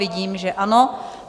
Vidím, že ano.